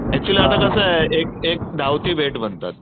Actually आता कसा एक एक धावती भेट म्हणतात.